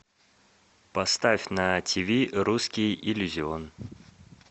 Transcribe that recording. поставь на тиви русский иллюзион